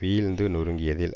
வீழ்ந்து நொறுங்கியதில்